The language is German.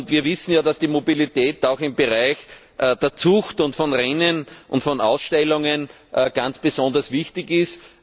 Wir wissen, dass die Mobilität auch im Bereich der Zucht, von Rennen und von Ausstellungen ganz besonders wichtig ist.